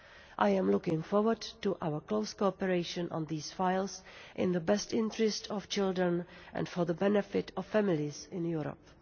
I am looking forward to our close cooperation on these files, in the best interest of children and for the benefit of families in Europe.